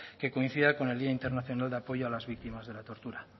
que coincida con el día internacional de apoyo a las víctimas de la tortura